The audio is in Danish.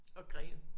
Og Gren